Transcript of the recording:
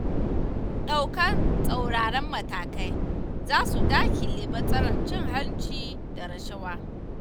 Ɗaukar tsauraran matakai, za su daƙile matsalar cin hanci da rashawa.